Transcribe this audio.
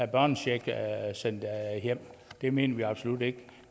børnecheck sendt hjem det mener vi absolut ikke